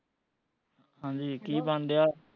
ਹਾਂਜੀ ਕੀ ਬਣਨ ਡਿਆ